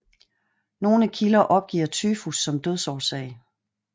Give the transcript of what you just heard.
Nogle kilder opgiver tyfus som dødsårsag